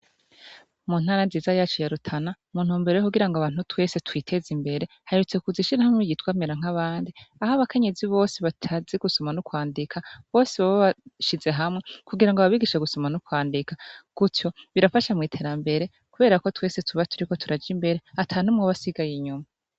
Mu ntara nziza yacu ya Rutana ,mu ntumbero yo kugira ngo twese twiteze imbere, haherutse kuza ishyirahamwe ryitwa merankabandi, aho abakenyezi bose batazi gusoma no kwandika bose bashize hamwe ,kugira ngo babigishe gusoma no kwandika. Gutyo, birafasha mw'iterambere, kubera ko twese tuba turiko turaja imbere ata n'umwe aba asigaye inyuma.